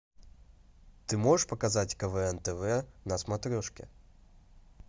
ты можешь показать квн тв на смотрешке